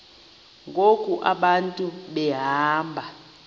ngoku abantu behamba